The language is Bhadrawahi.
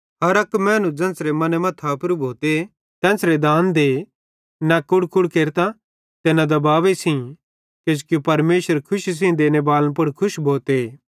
हर अक मैनू ज़ेन्च़रे मने मां थापेरू भोते तेन्च़रे दान दे न कुड़कुड़ केरतां ते न दबावे सेइं किजोकि परमेशर खुशी सेइं देने बालन पुड़ खुश भोते